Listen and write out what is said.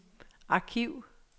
arkiv